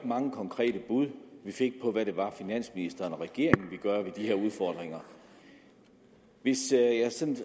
mange konkrete bud vi fik på hvad det var finansministeren og regeringen ville gøre ved de her udfordringer hvis jeg sådan